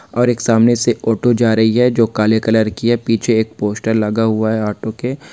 और एक सामने से ऑटो जा रही है जो काले कलर की है पीछे एक पोस्टर लगा हुआ है ऑटो के --